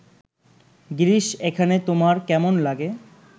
গিরিশ এখানে তোমার কেমন লাগে